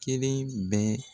Kelen bɛ.